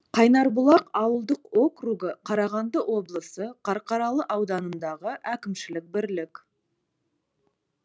қайнарбұлақ ауылдық округі қарағанды облысы қарқаралы ауданындағы әкімшілік бірлік